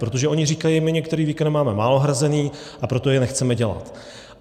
Protože oni říkají: my některé výkony máme málo hrazené, a proto je nechceme dělat.